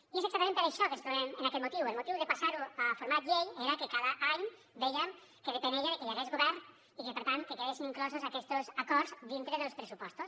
i és exactament per això que ens trobem en aquest motiu el motiu de passar ho a format llei era que cada any vèiem que depenia que hi hagués govern i que per tant quedessin inclosos aquests acords dintre dels pressupostos